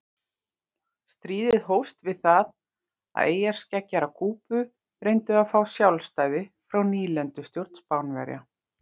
Stríðið hófst við það að eyjarskeggjar á Kúbu reyndu að fá sjálfstæði frá nýlendustjórn Spánverja.